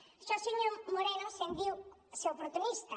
d’això senyor moreno se’n diu ser oportunista